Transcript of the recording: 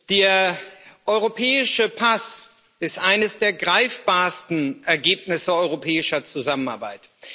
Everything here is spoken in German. Der europäische Pass ist eines der greifbarsten Ergebnisse europäischer Zusammenarbeit.